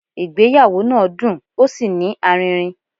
Ìgbéyàwó náà dùn ó sí ní aririn